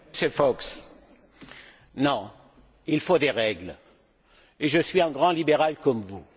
Monsieur Fox, non, il faut des règles, et je suis un grand libéral comme vous.